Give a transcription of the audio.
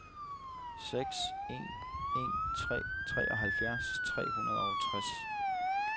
seks en en tre treoghalvfjerds tre hundrede og tres